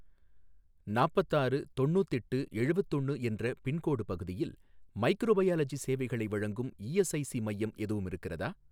நாப்பத்தாறு தொண்ணூத்தெட்டு எழுவத்தொன்னு என்ற பின்கோடு பகுதியில் மைக்ரோபயாலஜி சேவைகளை வழங்கும் இஎஸ்ஐஸி மையம் எதுவும் இருக்கிறதா?